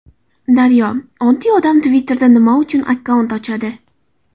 Daryo: Oddiy odam Twitter’da nima uchun akkaunt ochadi?